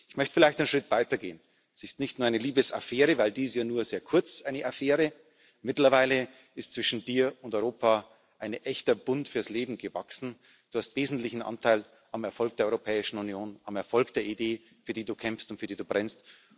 Ich möchte vielleicht einen Schritt weiter gehen Es ist nicht nur eine Liebesaffäre, denn eine Affäre ist ja nur sehr kurz, mittlerweile ist zwischen Dir und Europa ein echter Bund fürs Leben gewachsen. Du hast wesentlichen Anteil am Erfolg der Europäischen Union, am Erfolg der Idee, für die Du kämpfst und für die Du brennst.